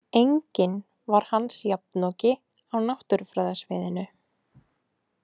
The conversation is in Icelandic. Enginn var hans jafnoki á náttúrufræðasviðinu